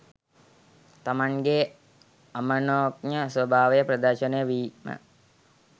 තමන්ගේ අමනෝඥ ස්වභාවය ප්‍රදර්ශනය වීම